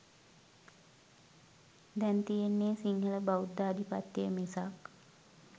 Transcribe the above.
දැන් තියෙන්නේ සිංහල බෞද්ධාධිපත්‍ය මිසක්